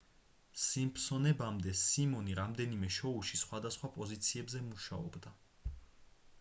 სიმფსონებამდე სიმონი რამდენიმე შოუში სხვადასხვა პოზიციებზე მუშაობდა